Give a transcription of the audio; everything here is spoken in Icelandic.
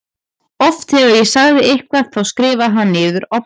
Oft þegar ég sagði eitthvað þá skrifaði hann niður á blað.